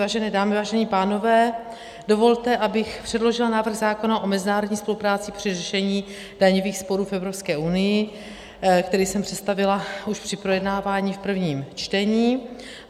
Vážené dámy, vážení pánové, dovolte, abych předložila návrh zákona o mezinárodní spolupráci při řešení daňových sporů v Evropské unii, který jsem představila už při projednávání v prvním čtení.